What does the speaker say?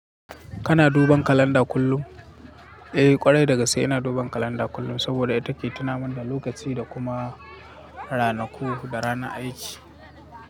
Kana duban kalanda kullum? Eh ƙwarai dagaske ina duban kalanda kullum saboda ita take tunamin da lokaci da kuma ranaku da ranar aiki.